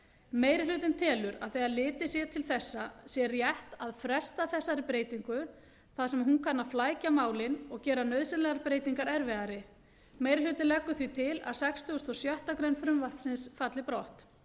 meiri hlutinn telur að þegar litið sé til þessa sé rétt að fresta þessari breytingu þar sem að hún kann að flækja málin og gera nauðsynlegar breytingar erfiðari meiri hlutinn leggur því til að sextugasta og sjöttu greinar frumvarpsins falli brott